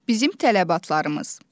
Bizim tələbatlarımız.